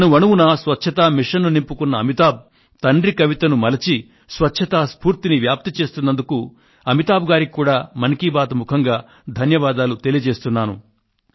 స్వచ్ఛత ఉద్యమాన్ని అణువణువున నింపుకున్న అమితాబ్ తండ్రి కవితను మలచి స్వచ్ఛతా స్ఫూర్తిని వ్యాప్తి చేస్తున్నందుకు అమితాబ్ గారికి కూడా మన్ కీ బాత్ మనసులో మాట ముఖంగా ధన్యవాదాలు తెలియజేస్తున్నాను